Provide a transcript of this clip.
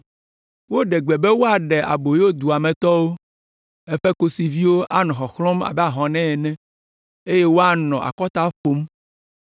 Woɖe gbe be woaɖe aboyo dua me tɔwo. Eƒe kosiviwo anɔ xɔxlɔ̃m abe ahɔnɛ ene, eye woanɔ akɔta ƒom.